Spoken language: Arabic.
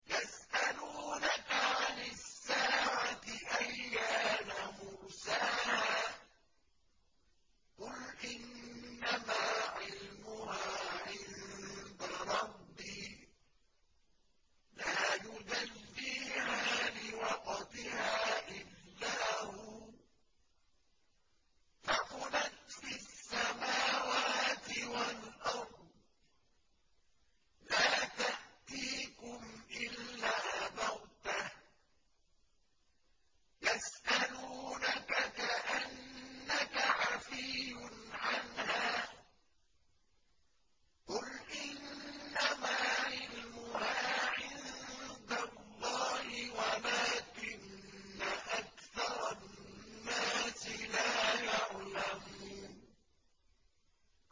يَسْأَلُونَكَ عَنِ السَّاعَةِ أَيَّانَ مُرْسَاهَا ۖ قُلْ إِنَّمَا عِلْمُهَا عِندَ رَبِّي ۖ لَا يُجَلِّيهَا لِوَقْتِهَا إِلَّا هُوَ ۚ ثَقُلَتْ فِي السَّمَاوَاتِ وَالْأَرْضِ ۚ لَا تَأْتِيكُمْ إِلَّا بَغْتَةً ۗ يَسْأَلُونَكَ كَأَنَّكَ حَفِيٌّ عَنْهَا ۖ قُلْ إِنَّمَا عِلْمُهَا عِندَ اللَّهِ وَلَٰكِنَّ أَكْثَرَ النَّاسِ لَا يَعْلَمُونَ